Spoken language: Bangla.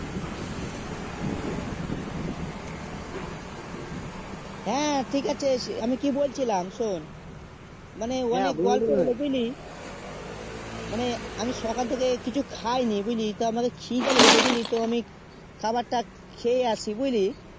হেঁ ঠিক আছে আমি কি বল ছিলাম শোন মানে বুঝলি মানে সকাল থেকে কিছু খাই নি বুঝলি তো আমাকে খিদে লেগেছে বুঝলি তো আমি খাবার খেয়ে আসি বুঝলি